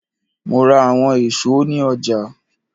Mo ra awọn eso ni ọja.